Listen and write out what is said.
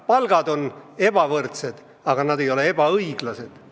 Palgad on ebavõrdsed, aga need ei ole ebaõiglased.